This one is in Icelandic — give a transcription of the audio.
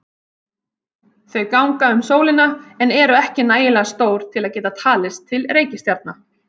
Þau ganga um sólina en eru ekki nægilega stór til að geta talist til reikistjarna.